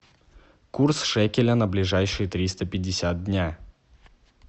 курс шекеля на ближайшие триста пятьдесят дня